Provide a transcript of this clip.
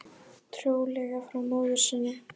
Trúlega frá móður sinni.